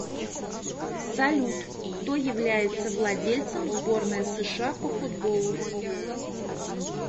салют кто является владельцем сборная сша по футболу